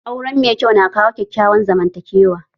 Aure mai kyau na kawo kyakkyawan zaman takewa